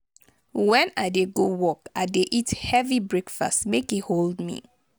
wen i dey go work i dey eat heavy breakfast make e hold me